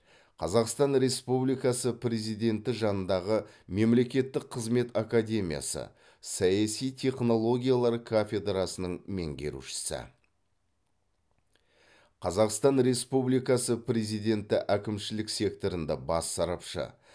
қазақстан республикасы президенті жанындағы мемлекеттік қызмет академиясы саяси технологиялар кафедрасының меңгерушісі қазақстан республикасы президенті әкімшілік секторында бас сарапшы